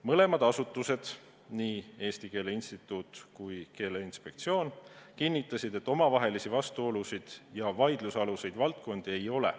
Mõlemad asutused, nii Eesti Keele Instituut kui Keeleinspektsioon kinnitasid, et omavahelisi vastuolusid ja vaidlusaluseid valdkondi ei ole.